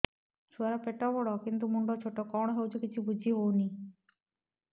ଛୁଆର ପେଟବଡ଼ କିନ୍ତୁ ମୁଣ୍ଡ ଛୋଟ କଣ ହଉଚି କିଛି ଵୁଝିହୋଉନି